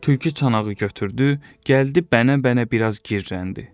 Tülkü çanağı götürdü, gəldi bənə-bənə biraz girrələndi.